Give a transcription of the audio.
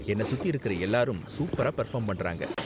என்ன சுத்தி இருக்குற எல்லாரும் சூப்பரா பெர்ஃபார்ம் பண்றாங்க.